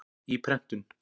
Í prentun.